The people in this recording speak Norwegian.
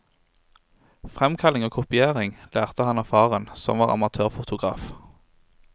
Fremkalling og kopiering lærte han av faren, som var amatørfotograf.